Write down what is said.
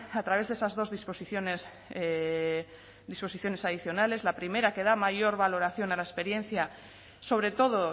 a través de esas dos disposiciones adicionales la primera que da mayor valoración a la experiencia sobre todo